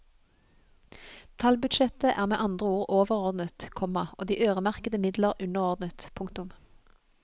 Tallbudsjettet er med andre ord overordnet, komma og de øremerkede midler underordnet. punktum